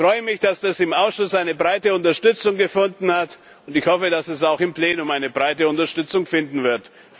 Ich freue mich, dass das im Ausschuss eine breite Unterstützung gefunden hat, und ich hoffe, dass es auch im Plenum eine breite Unterstützung finden wird.